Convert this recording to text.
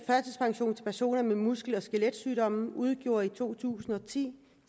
personer med muskel og skeletsygdomme udgjorde i to tusind og ti